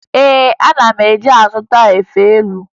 Ee, ana m eje ịzụta efe elu